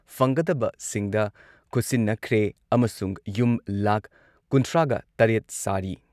ꯐꯪꯒꯗꯕꯁꯤꯡꯗ ꯈꯨꯠꯁꯤꯟꯅꯈ꯭ꯔꯦ ꯑꯃꯁꯨꯡ ꯌꯨꯝ ꯂꯥꯈ ꯀꯨꯟꯊ꯭ꯔꯥꯒ ꯇꯔꯦꯠ ꯁꯥꯔꯤ ꯫